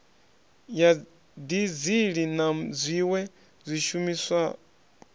ya dizili na zwiwe zwishumiswa